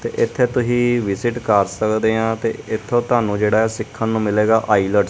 ਤੇ ਇੱਥੇ ਤੁਸੀ ਵਿਜ਼ਿਟ ਕਰ ਸਕਦੇ ਹਾਂ ਤੇ ਏੱਥੋਂ ਤੁਹਾਨੂੰ ਜੇਹੜਾ ਹੈ ਸਿੱਖੰਨ ਨੂੰ ਮਿਲੇਗਾ ਆਈਲੇਟਸ ।